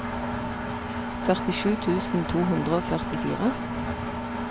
førtisju tusen to hundre og førtifire